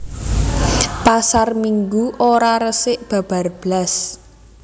Pasar Minggu ora resik babar blas